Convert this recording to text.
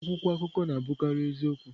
Akwụkwọ akụkọ na-abụkarị eziokwu.